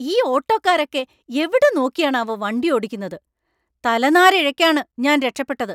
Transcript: ഈ ഓട്ടോക്കാരോക്കെ എവിടെ നോക്കിയാണാവോ വണ്ടി ഓടിക്കുന്നത്; തലനാരിഴക്കാണ് ഞാൻ രക്ഷപ്പെട്ടത്.